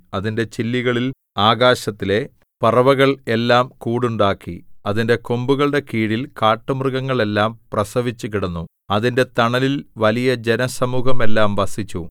അതിന്റെ ചില്ലികളിൽ ആകാശത്തിലെ പറവകൾ എല്ലാം കൂടുണ്ടാക്കി അതിന്റെ കൊമ്പുകളുടെ കീഴിൽ കാട്ടുമൃഗങ്ങൾ എല്ലാം പ്രസവിച്ചുകിടന്നു അതിന്റെ തണലിൽ വലിയ ജനസമൂഹമെല്ലാം വസിച്ചു